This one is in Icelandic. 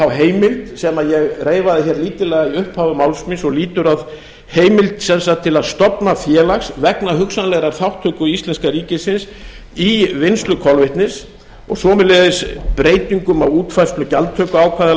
þá heimild sem ég reifaði hér lítillega við upphaf máls míns og lýtur að heimild sem sagt til að stofna félag vegna hugsanlegrar þátttöku íslenska ríkisins í vinnslu kolvetnis og sömuleiðis breytingum á útfærslu gjaldtökuákvæða